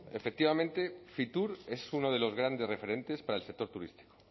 efectivamente fitur es uno de los grandes referentes para el sector turístico